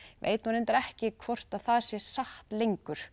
veit reyndar ekki hvort það sé satt lengur